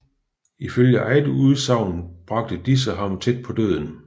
Ifølge eget udsagn bragte disse ham tæt på døden